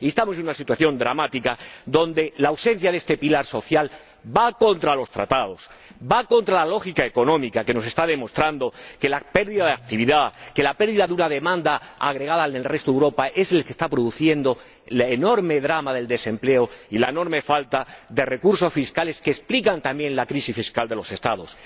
Y estamos en una situación dramática en la que la ausencia de este pilar social va contra los Tratados, va contra la lógica económica, que nos está demostrando que la pérdida de actividad, que la pérdida de una demanda, agregada en el resto de Europa, es lo que está produciendo el enorme drama del desempleo y la enorme falta de recursos fiscales que explican también la crisis fiscal de los Estados.